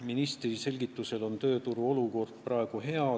Ministri selgitusel on tööturu olukord praegu hea.